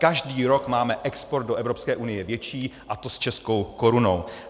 Každý rok máme export do Evropské unie větší, a to s českou korunou.